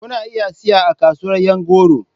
Kuna iya siya a kasuwar yan goro.